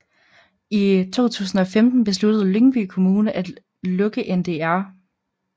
I 2015 besluttede Lyngby Kommune at lukke Ndr